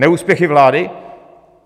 Neúspěchy vlády?